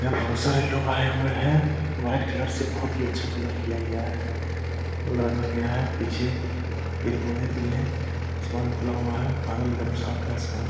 यहाँ बहुत सारे लोग आये हुए हैं व्हाइट कलर से बहुत ही अच्छा कलर किया गया है रंगा गया है पीछे पेड़ पौधे भी हैं आसमान खुला हुआ है बादल एक दम साफ़ है आसमान --